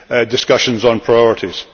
discussion on priorities.